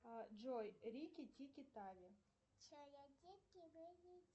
джой рики тики тави